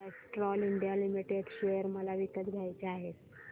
Castrol India limited share मला विकत घ्यायचे आहेत